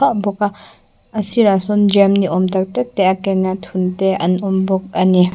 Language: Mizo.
bawk a a sirah sawn jam ni awm tak tak te a ken a thun te a awm bawk ani.